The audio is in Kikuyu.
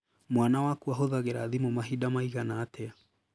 Mwana waku ahũthagĩra thimũ mahinda maigana atĩa?